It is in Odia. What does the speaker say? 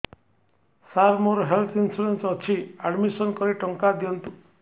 ସାର ମୋର ହେଲ୍ଥ ଇନ୍ସୁରେନ୍ସ ଅଛି ଆଡ୍ମିଶନ କରି ଟଙ୍କା ଦିଅନ୍ତୁ